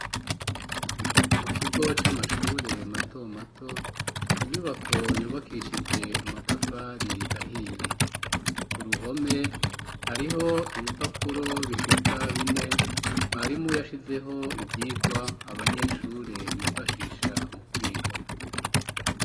Mu kigo c'amashure mato mato inyubako yubakishije amatafari ahiye ku ruhome hariho ibipapuro bishika bine mwarimu yashizeho ivyigwa abanyeshure bifashisha mu kwiga.